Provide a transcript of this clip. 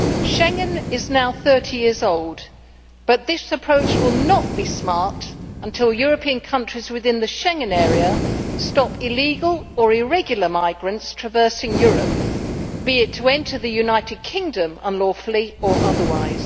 Schengen is now 30 years old, but this approach will not be smart until European countries within the Schengen area stop illegal or irregular migrants traversing Europe, be it to enter the United Kingdom unlawfully or otherwise.